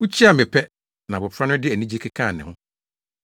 Wukyiaa me pɛ, na abofra no de anigye kekaa ne ho.